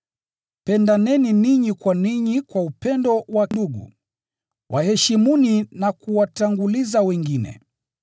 Pendaneni ninyi kwa ninyi kwa upendo wa ndugu. Waheshimuni na kuwatanguliza wengine.